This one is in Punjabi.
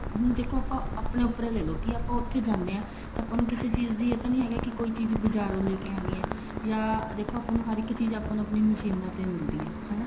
ਹੁਣ ਦੇਖੋ ਆਪਾਂ ਆਪਣੇ ਉੱਪਰ ਹੀ ਲੈਲੋ ਕੀ ਆਪਾਂ ਉੱਥੇ ਜਾਂਦੇ ਹਾਂ ਤਾ ਆਪਾਂ ਨੂੰ ਕਿਸੇ ਚੀਜ਼ ਦੀ ਇਹ ਤਾਂ ਨੀ ਹੈਗਾ ਕੋਈ ਚੀਜ਼ ਬਜਾਰੋਂ ਲੈਕੇ ਆਉਣੀ ਆ ਦੇਖੋ ਥੋਨੂੰ ਹਰ ਇੱਕ ਚੀਜ਼ ਆਪਾਂ ਨੂੰ ਆਪਣੀ ਮਸ਼ੀਨਾ ਤੇ ਹੀ ਮਿਲਦੀ ਹੈ ਹਨਾ